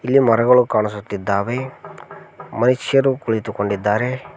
ಇಲ್ಲಿ ಮರಗಳು ಕಾಣಿಸುತ್ತಿದ್ದಾವೆ ಮನುಷ್ಯರು ಕುಳಿತುಕೊಂಡಿದ್ದಾರೆ.